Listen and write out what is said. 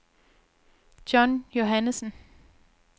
John Johannessen